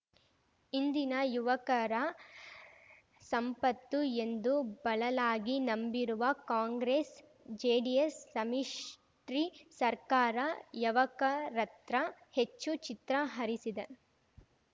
ಇಂದಿನ ಯವಕರ ಸಂಪತ್ತು ಎಂದು ಬಲಲಾಗಿ ನಂಬಿರುವ ಕಾಂಗ್ರೆಸ್ಜೆಡಿಎಸ್ ಸಂಮಿಷ್ಟಿರಿ ಸರ್ಕಾರ ಯವಕರತ್ರ ಹೆಚ್ಚು ಚಿತ್ರ ಹರಿಸಿದೆ